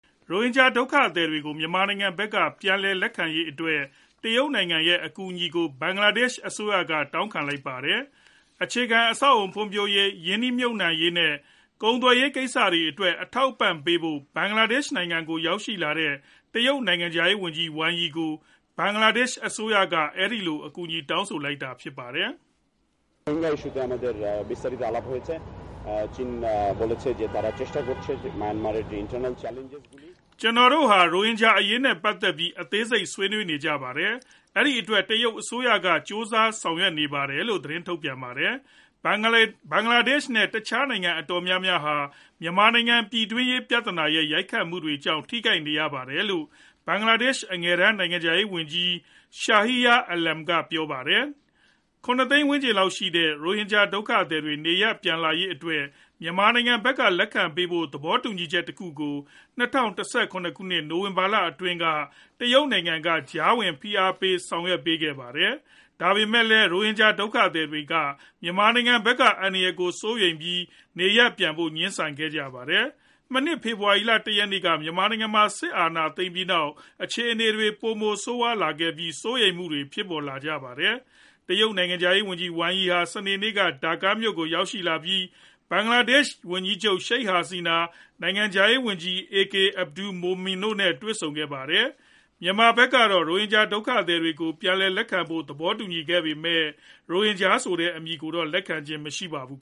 ရိုဟင်ဂျ ာဒုက္ခသည်တွေကို မြန်မာနိုင်ငံဖက်က ပြန်လည်လက်ခံရေးအတွက် တရုတ်နိုင်ငံ ရဲ့ အကူအညီကို ဘင်္ဂလားဒေ့ရှ်အစိုးရက တောင်းခံလိုက်ပါတယ်။ အခြေခံ အဆောက်အဦ ဖွံ့ဖြိုးတိုးတက်ရေး ၊ ရင်းနှီးမြုပ်နှံရေး နဲ့ ကုန်သွယ်ရေးကိစ္စတွေအတွက် အထောက်အပံ့ပေးဖို့ ဘင်္ဂလားဒေ့ရှ်နိုင်ငံကို ရောက်လာတဲ့ တရုတ်နိုင်ငံခြားရေးဝန်ကြီး Wang Yi ကို ဘင်္ဂလားဒေ့ရှ်အစိုးရက အဲဒီလို အကူအညီတောင်းဆိုလိုက်တာဖြစ်ပါတယ်။ "ကျနော်တို့ဟာ ရိုဟင်ဂျာအရေးနဲ့ ပတ်သက်ပြီး အသေးစိတ်ကို ဆွေးနွေးကြပါတယ်။ အဲဒီအတွက် တရုတ်အစိုးရက ကြိုးစားဆောင်ရွက်နေပါတယ်လို့ ထုတ်ပြန်ပါတယ်။ ဘင်္ဂလားဒေ့ရှ်နဲ့ တခြားနိုင်ငံ အတော်များများဟာ မြန်မာနိုင်ငံ ပြည်တွင်းရေး ပြဿနာရဲ့ ရိုက်ခတ်မှုတွေကြောင့် ထိခိုက်နေကြရပါတယ်" လို့ ဘင်္ဂလားဒေ့ရှ် အငယ်တန်း နိုင်ငံခြားရေးဝန်ကြီး Shahriar Alam က ပြောပါတယ်။ ၇ သိန်းဝန်းကျင်လောက်ရှိကြတဲ့ ရိုဟင်ဂျာ ဒုက္ခသည်တွေ နေရပ်ပြန်လာရေးအတွက် မြန်မာနိုင်ငံဖက်က လက်ခံပေးဖို့ သဘောတူညီမှုတခုကို ၂ဝ၁၇ ခုနှစ် နိုဝင်ဘာလအတွင်းက တရုတ်နိုင်ငံက ကြားဝင်ဖိအားပေး လုပ်ဆောင်ခဲ့ပါတယ်။ ဒါပေမယ့်လည်း ရိုဟင်ဂျာ ဒုက္ခသည်တွေက မြန်မာနိုင်ငံဖက်က အန္တရယ်တွေကို စိုးရိမ်ပြီး နေရပ်ပြန်ဖို့ငြင်းဆိုခဲ့ကြပါတယ်။ မနှစ် ဖေဖော်ဝါရီလ ၁ ရက်နေ့က မြန်မာနိုင်ငံမှာ စစ်အာဏာသိမ်းခဲ့ပြီးနောက် အခြေအနေတွေဟာ ပိုမိုဆိုးဝါးလာခဲ့ပြီး စိုးရိမ်းမှုတွေ ဖြစ်ပေါ်လာကြပါတယ်။ တရုတ်နိုင်ငံခြားရေးဝန်ကြီး Wang Yi ဟာ စနေနေ့က Dhaka မြို့ကို ရောက်ရှိလာပြီး ဘင်္ဂလားဒေ့ရှ်ဝန်ကြီးချုပ် Sheikh Hasina ၊ နိုင်ငံခြားရေးဝန်ကြီး A.K Abdul Momen တို့နဲ့ တွေ့ဆုံခဲ့ပါတယ်။ မြန်မာဖက်ကတော့ ရိုဟင်ဂျာ ဒုက္ခသည်တွေကို ပြန်လည်လက်ခံဖို့ သဘောတူခဲ့ပေမယ် ရိုဟင်ဂျာဆိုတဲ့ အမည်ကိုတော့ လက်ခံခြင်းမရှိပါဘူး